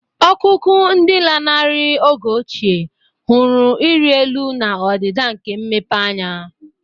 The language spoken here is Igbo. Ọkụkụ, ndị lanarịrị oge ochie, hụrụ ịrị elu na ọdịda nke mmepeanya.